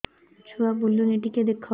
ଛୁଆ ବୁଲୁନି ଟିକେ ଦେଖ